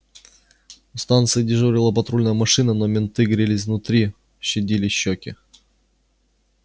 у станции дежурила патрульная машина но менты грелись внутри щадили щеки